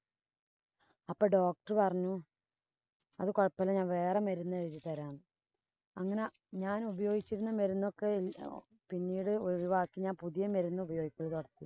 അപ്പൊ doctor പറഞ്ഞു. അത് കൊഴപ്പ ഇല്ല, ഞാന്‍ വേറെ മരുന്ന് എഴുതി തരാന്ന്. അങ്ങനെ ഞാനുപയോഗിക്കുന്ന മരുന്നൊക്കെ പിന്നീട് ഒഴിവാക്കി പുതിയ മരുന്ന് ഉപയോഗിക്കാന്‍